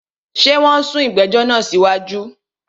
Ṣé wọn sún ìgbẹ̀jọ̀ náà sí wájú?